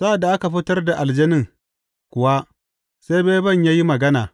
Sa’ad da aka fitar da aljanin kuwa, sai beben ya yi magana.